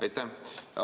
Aitäh!